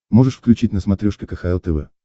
можешь включить на смотрешке кхл тв